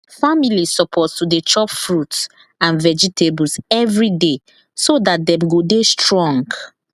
families suppose to dey chop fruit and vegetables every day so dat dem go dey strong